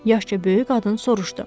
Yaşca böyük qadın soruşdu.